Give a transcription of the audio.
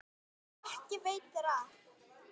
Og ekki veitir af.